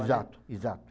Exato, exato.